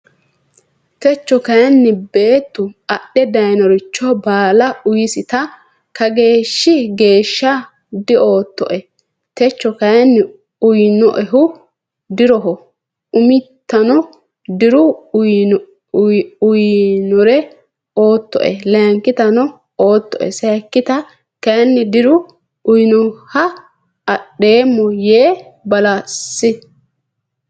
Techo kayinni beettu adhe daynoricho baala uysita Kageeshshi geeshsha dioottoe techo kayinni uynoehu diroho umitano diru uynore oottoe layinkitano oottoe sayikkita kayinni diru uynoeha adhoommo yee balesi.